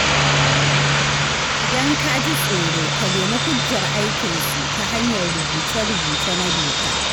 Idan ka ji tsoro, ka nemi hujjar aikinsu ta hanyar rubuce-rubuce na doka.